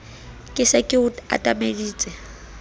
ke se ke o atameditse